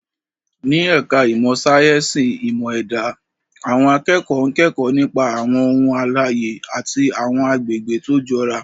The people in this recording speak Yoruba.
Ní ẹ̀ka ìmọ̀ sáyẹ́sì ìmọ̀ ẹ̀dá, àwọn akẹ́kọ̀ọ́ ń kẹ́kọ̀ọ́ nípa àwọn ohun alààyè àti àwọn àgbègbè tó jọra.